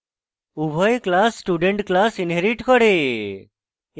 উভয় classes student classes inherit করে